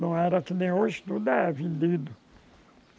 Não era que nem hoje tudo é vendido.